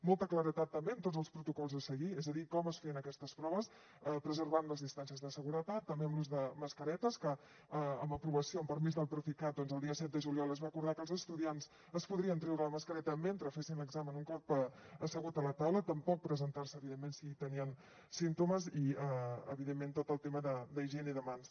molta claredat també en tots els protocols a seguir és a dir en com es feien aquestes proves preservant les distàncies de seguretat també amb l’ús de mascaretes que amb aprovació amb permís del procicat el dia set de juliol es va acordar que els estudiants es podrien treure la mascareta mentre fessin l’examen un cop asseguts a la taula tampoc presentar s’hi evidentment si tenien símptomes i evidentment tot el tema d’higiene de mans